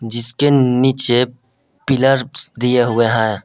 जिसके नीचे पिलर दिए हुए हैं।